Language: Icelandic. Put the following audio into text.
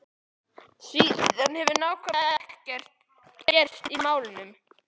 Síðan hefur nákvæmlega ekkert gerst í málinu.